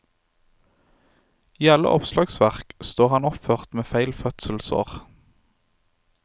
I alle oppslagsverk står han oppført med feil fødselsår.